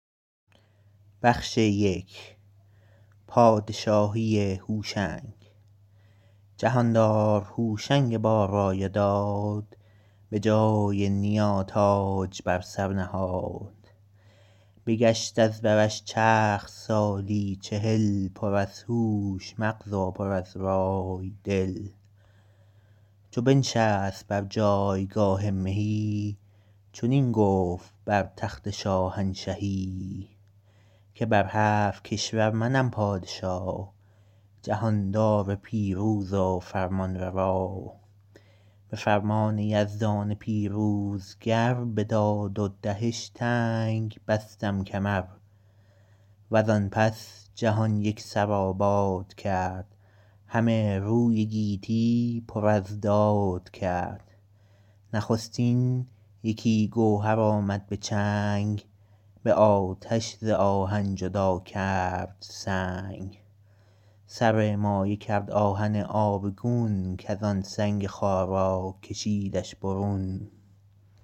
جهاندار هوشنگ با رای و داد به جای نیا تاج بر سر نهاد بگشت از برش چرخ سالی چهل پر از هوش مغز و پر از رای دل چو بنشست بر جایگاه مهی چنین گفت بر تخت شاهنشهی که بر هفت کشور منم پادشا جهاندار پیروز و فرمانروا به فرمان یزدان پیروزگر به داد و دهش تنگ بستم کمر و زان پس جهان یک سر آباد کرد همه روی گیتی پر از داد کرد نخستین یکی گوهر آمد به چنگ به آتش ز آهن جدا کرد سنگ سر مایه کرد آهن آبگون کز آن سنگ خارا کشیدش برون